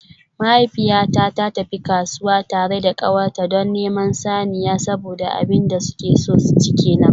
Mahaifiyata ta tafi kasuwa tare da kawarta don neman saniya saboda abin da suke so su ci kenan.